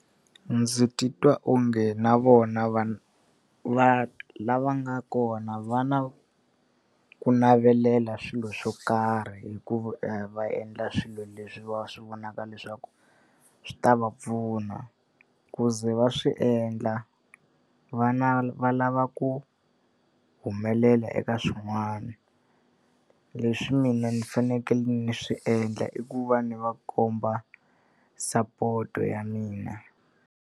Ndzi titwa onge na vona va va lava nga kona va na ku navelela swilo swo karhi hikuva va endla swilo leswi va swi vonaka leswaku swi ta va pfuna. Ku ze va swi endla va lava ku humelela eka swin'wana, leswi mina ni fanekele ni swi endla i ku va ni va komba sapoto ya mina.